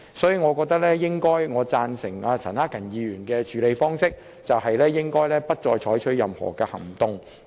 所以，我贊成陳克勤議員建議的處理方式，即不再就這項譴責議案採取任何行動。